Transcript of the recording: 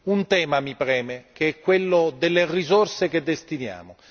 Un tema mi preme, che è quello delle risorse che destiniamo.